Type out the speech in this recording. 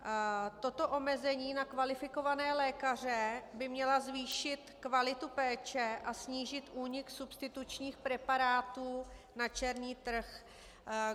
Toto omezení na kvalifikované lékaře by mělo zvýšit kvalitu péče a snížit únik substitučních preparátů na černý trh.